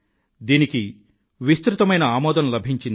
దీనికి విస్తృతమైన ఆదరం లభించింది